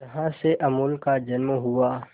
जहां से अमूल का जन्म हुआ